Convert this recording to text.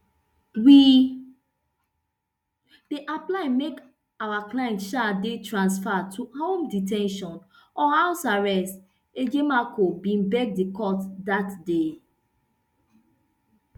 we dey apply make our client um dey transferred to home de ten tion or house arrest ejimakor bin beg di court dat day